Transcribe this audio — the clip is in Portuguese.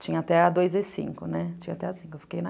tinha até a dois e cinco, né, tinha até